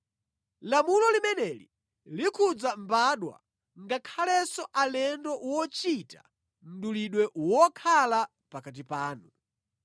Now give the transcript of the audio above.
Lamulo limeneli likhudza mbadwa ngakhalenso alendo wochita mdulidwe wokhala pakati panu.